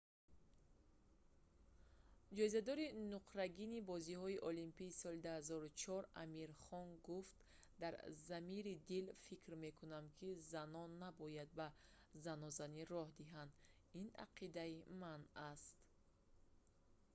ҷоизадори нуқрагини бозиҳои олимпии соли 2004 амир хон гуфт дар замири дил фикр мекунам ки занон набояд ба занозанӣ роҳ диҳанд ин ақидаи ман аст